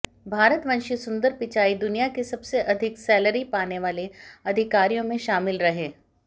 भारतवंशी सुंदर पिचाई दुनिया के सबसे अधिक सैलरी पाने वाले अधिकारियों में शामिल रहे